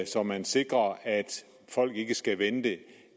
så man sikrer at folk ikke skal vente